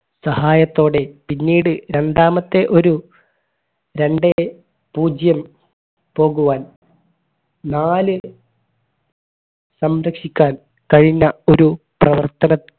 സഹായത്തോടെ പിന്നീട് രണ്ടാമത്തെ ഒരു രണ്ടേ പൂജ്യം പോകുവാൻ നാല് സംരക്ഷിക്കാൻ കഴിഞ്ഞ ഒരു പ്രവർത്തന